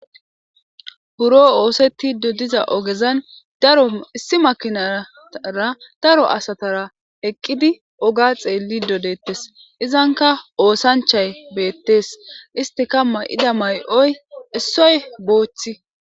buro oosetti dodiza ogezan daro issi makinara daro asatara eqqidi oga xeelli dodeettes izanka oosanchay beettes istikamma ida may7oy issoy booththi